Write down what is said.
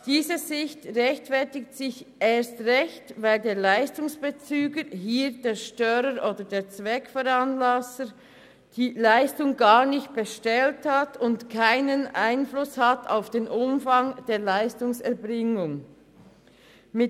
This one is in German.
Diese Sicht rechtfertigt sich erst recht, weil der Leistungsbezüger – hier der Störer oder der Zweckveranlasser – die Leistung gar nicht bestellt hat und keinen Einfluss auf den Umfang der Leistungserbringung hat.